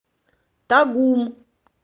тагум